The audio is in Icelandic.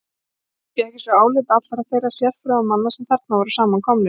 Fékk ég svo álit allra þeirra sérfróðu manna, sem þarna voru samankomnir.